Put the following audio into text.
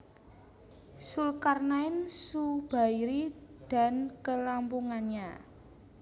Zulkarnain Zubairi dan Kelampungannya